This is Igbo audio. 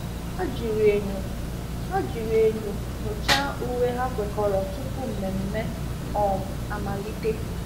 Ha jiri enyo Ha jiri enyo nyochaa uwe ha kwekọrọ tupu mmemme um amalite.